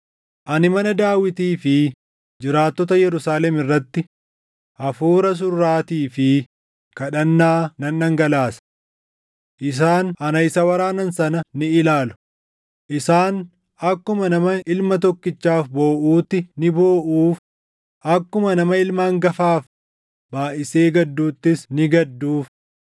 “Ani mana Daawitii fi jiraattota Yerusaalem irratti hafuura surraatii fi kadhannaa nan dhangalaasa. Isaan ana isa waraanan sana ni ilaalu; isaan akkuma nama ilma tokkichaaf booʼuutti ni booʼuuf; akkuma nama ilma hangafaaf baayʼisee gadduuttis ni gadduuf.